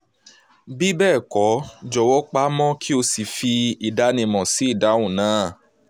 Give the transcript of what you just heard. bí bẹ́ẹ̀ kọ́ jọ̀wọ́ pa á mọ́ kí o sì fi ìdánimọ̀ sí ìdáhùn náà